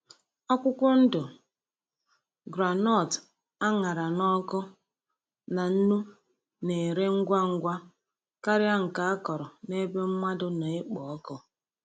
Akwụkwọ ndụ groundnut a ṅara n’ọkụ na nnu na-ere ngwa ngwa karịa nke akọrọ n’ebe mmadụ na-ekpo ọkụ.